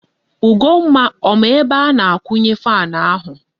Ugomma ọ ma ebe a na-akwunye fan ahu?